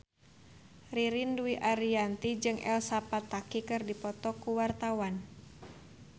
Ririn Dwi Ariyanti jeung Elsa Pataky keur dipoto ku wartawan